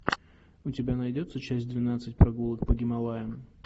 у тебя найдется часть двенадцать прогулок по гималаям